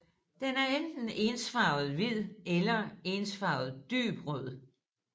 Den er enten ensfarvet hvid eller ensfarvet dyb rød